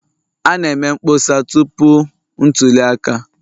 A na-eme mkpọsa tupu ntuli aka